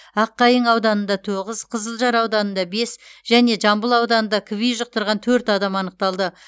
аққайың ауданында тоғыз қызылжар ауданында бес және жамбыл ауданында кви жұқтырған төрт адам анықталды